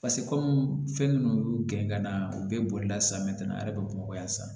kɔmi fɛn minnu y'u gɛn ka na u bɛɛ bolila san mɛ ka na a yɛrɛ bɛ bamakɔ yan sisan